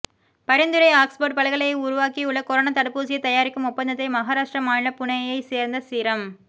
பரிந்துரைஆக்ஸ்போர்டு பல்கலை உருவாக்கியுள்ள கொரோனா தடுப்பூசியை தயாரிக்கும் ஒப்பந்தத்தை மஹாராஷ்டிரா மாநிலம் புனேயை சேர்ந்த சீரம்